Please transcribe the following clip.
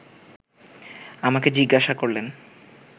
আমাকে জিজ্ঞাসা করলেন